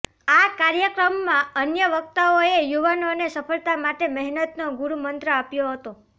આ કાર્યક્રમમાં અન્ય વક્તાઓએ યુવાનોને સફળતા માટે મહેનતનો ગુરૂમંત્ર આપ્યો હતો